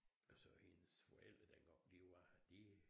Og så hendes forældre dengang de var de